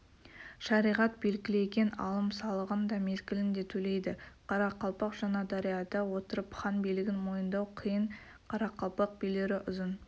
шариғат белгілеген алым-салығын да мезгілінде төлейді қарақалпақ жаңадарияда отырып хан билігін мойындау қиын қарақалпақ билері ұзын